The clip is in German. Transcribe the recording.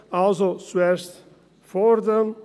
Also: zuerst fordern.